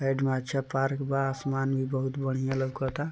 Side में छै park बा आसमानी बहुत बढ़िया ।